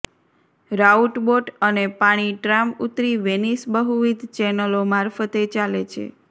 route boat અને પાણી tram ઉતરી વેનિસ બહુવિધ ચેનલો મારફતે ચાલે છે